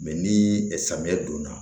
Mɛ ni samiyɛ donna